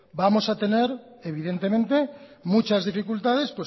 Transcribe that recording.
vamos a tener evidentemente muchas dificultades